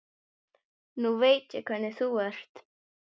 Nú veit ég hvernig þú ert!